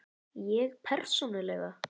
Ég persónulega?